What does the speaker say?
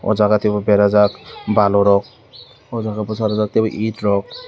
o jaga teibo berajak balu rok o jaga bwcharwjak teibo it rok.